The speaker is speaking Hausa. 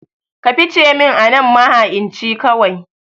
Ka fice min anan maha'inci kawai